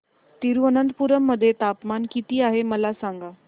तिरूअनंतपुरम मध्ये तापमान किती आहे मला सांगा